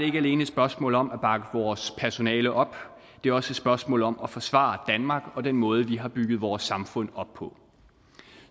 ikke alene et spørgsmål om at bakke vores personale op det er også et spørgsmål om at forsvare danmark og den måde vi har bygget vores samfund op på